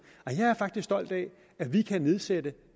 at vi kan nedsætte